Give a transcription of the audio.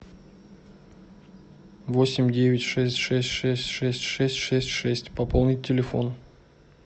восемь девять шесть шесть шесть шесть шесть шесть шесть пополнить телефон